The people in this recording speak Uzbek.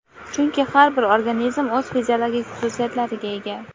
chunki har bir organizm o‘z fiziologik xususiyatlariga ega.